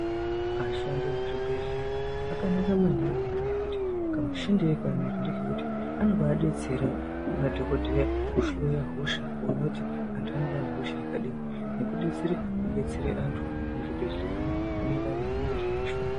Ashandi muzvichibhehleya akanaka maningi nechekuti kamushandire kaanoita ngekuti anombai detsera madhokodheya kuhloya hosha kuona kuti vantu vanenge vanehosha yakadini nekudetsera kudetsera vantu muzvibhedhlera mwo anenge anezvino vashupa.